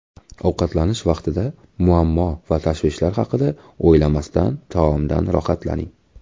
Ovqatlanish vaqtida muammo va tashvishlar haqida o‘ylamasdan taomdan rohatlaning.